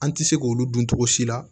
An tɛ se k'olu dun togo si la